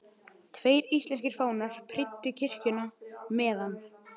Tveir íslenskir fánar prýddu kirkjuna meðan